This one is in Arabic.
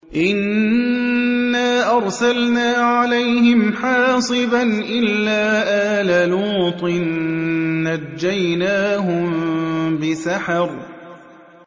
إِنَّا أَرْسَلْنَا عَلَيْهِمْ حَاصِبًا إِلَّا آلَ لُوطٍ ۖ نَّجَّيْنَاهُم بِسَحَرٍ